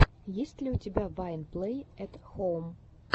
есть ли у тебя вайн плэй эт хоум